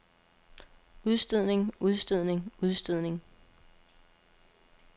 udstødning udstødning udstødning